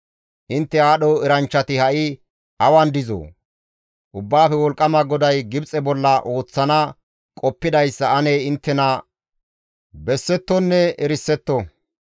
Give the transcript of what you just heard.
Intte aadho eranchchati ha7i awan dizoo? Ubbaafe Wolqqama GODAY Gibxe bolla ooththana qoppidayssa ane inttena bessettonne erisetto.